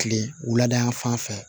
Kile wulada fan fɛ